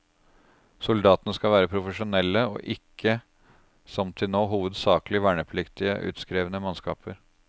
Soldatene skal være profesjonelle, og ikke, som til nå, hovedsakelig vernepliktige, utskrevne mannskaper.